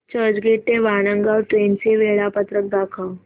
चर्चगेट ते वाणगांव ट्रेन चे वेळापत्रक दाखव